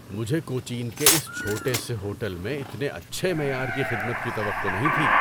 مجھے کوچین کے اس چھوٹے سے ہوٹل میں اتنے اچھے معیار کی خدمت کی توقع نہیں تھی!